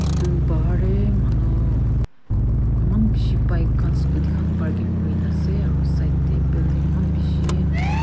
itutu pahar tey manu eman bishi pike khan scooty khan barking kuri na ase aru side de building eman bishi--